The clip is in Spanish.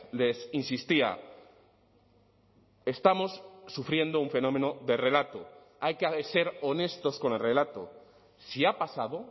les insistía estamos sufriendo un fenómeno de relato hay que ser honestos con el relato si ha pasado